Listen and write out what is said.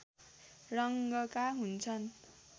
रङ्गका हुन्छन्